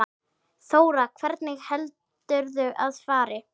Þóra: Hvernig heldurðu að fari?